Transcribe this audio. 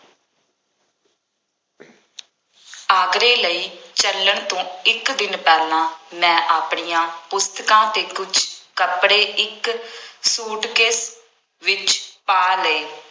ਆਗਰੇ ਲਈ ਚੱਲਣ ਤੋਂ ਇੱਕ ਦਿਨ ਪਹਿਲਾਂ ਮੈਂ ਆਪਣੀਆਂ ਪੁਸਤਕਾਂ ਅਤੇ ਕੁੱਝ ਕੱਪੜੇ ਇੱਕ ਸੂਟਕੇਸ ਵਿੱਚ ਪਾ ਲਏ।